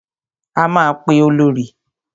A máa pe Olorì.